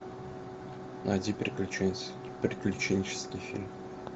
найди приключенческий фильм